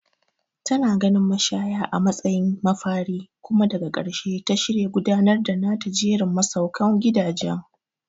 Tana ganin mashaya a matsayin mafari kuma daga ƙarshe ta shirya gudanar da nata jerin masaukan gidaje.